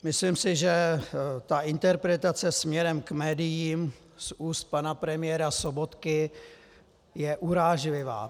Myslím si, že ta interpretace směrem k médiím z úst pana premiéra Sobotky je urážlivá.